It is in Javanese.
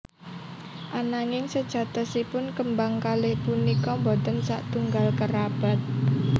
Ananging sejatosipun kembang kalih punika boten satunggal kerabat